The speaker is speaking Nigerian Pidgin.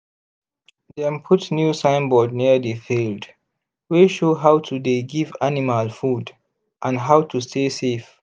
dem put new signboard near the field wey show how to dey give animal food and how to stay safe